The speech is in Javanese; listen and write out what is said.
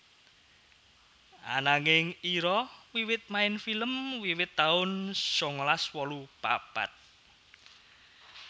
Ananging Ira wiwit main film wiwit taun sangalas wolu papat